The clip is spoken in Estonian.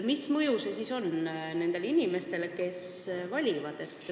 Mis mõju sel siis on nendele inimestele, kes valivad?